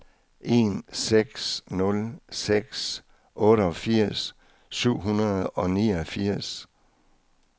en seks nul seks otteogfirs syv hundrede og niogfirs